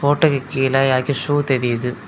ஃபோட்டோக்கு கீழ யாருக்க ஷூ தெரியுது.